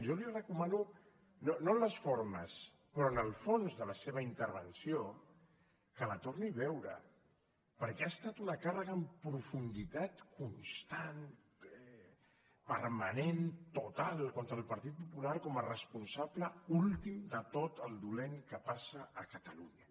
jo li recomano no en les formes però en el fons de la seva intervenció que la torni a veure perquè ha estat una càrrega en profunditat constant permanent total contra el partit popular com a responsable últim de tot el dolent que passa a catalunya